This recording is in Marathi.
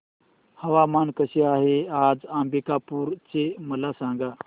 हवामान कसे आहे आज अंबिकापूर चे मला सांगा